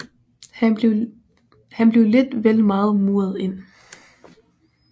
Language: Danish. Han blev lidt vel meget muret inde